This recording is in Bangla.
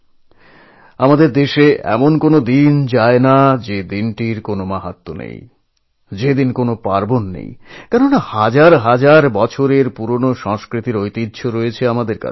সম্ভবত আমাদের দেশে হেন দিন নেই যেদিনের সঙ্গে কোনও না কোনো উৎসব বা পার্বণ জুড়ে নেই বা কোনও বিশিষ্ট তাৎপর্য নেই কারণ আমাদের সঙ্গে রয়েছে হাজার বছরের পুরনো ঐতিহ্য